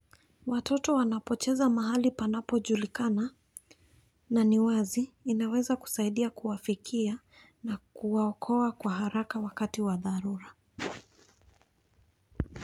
Watoto wanapocheza mahali panapojulikana, na ni wazi, inaweza kusaidia kuwafikia na kuwaokoa kwa haraka wakati wa dharura.